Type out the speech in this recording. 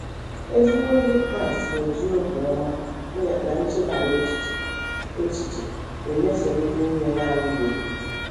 Ezigbo ndị Kraịst na - eji obiọma na nchebara echiche echiche emeso ndị nne na - alụbeghị di